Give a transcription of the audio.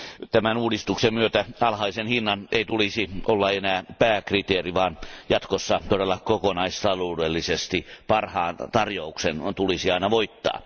Tämän uudistuksen myötä alhaisen hinnan ei tulisi olla enää pääkriteeri, vaan jatkossa todella kokonaistaloudellisesti parhaan tarjouksen tulisi aina voittaa.